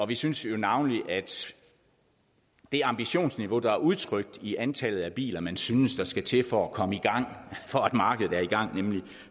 vi synes jo navnlig at det ambitionsniveau der er udtrykt i antallet af biler man synes der skal til for at komme i gang gang nemlig